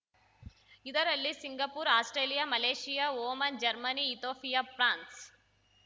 ಇದರಲ್ಲಿ Singapore Australia Malaysia Oman Germany Ethiopia France